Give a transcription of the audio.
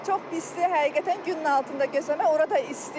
Çox pisdir, həqiqətən günün altında gəzmək olar da isti.